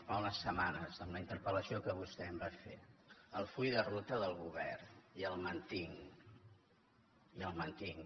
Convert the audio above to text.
fa unes setmanes en la inter pel·lació que vostè em va fer el full de ruta del govern i el mantinc i el mantinc